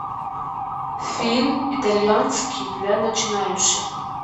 фильм итальянский для начинающих